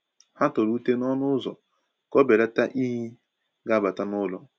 Ha tọrọ ute n’ọnụ ụzọ ka o belata inyi ga abata n’ụlọ.